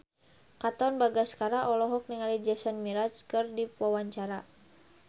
Katon Bagaskara olohok ningali Jason Mraz keur diwawancara